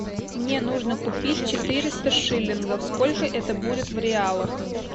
мне нужно купить четыреста шиллингов сколько это будет в реалах